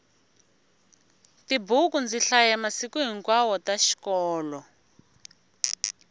tibuku ndzi hlaya masiku hinkwawo ta xikolo